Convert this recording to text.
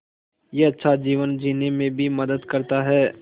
यह अच्छा जीवन जीने में भी मदद करता है